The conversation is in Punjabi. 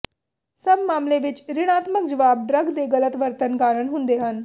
ਸਭ ਮਾਮਲੇ ਵਿੱਚ ਰਿਣਾਤਮਕ ਜਵਾਬ ਡਰੱਗ ਦੇ ਗਲਤ ਵਰਤਣ ਕਾਰਨ ਹੁੰਦੇ ਹਨ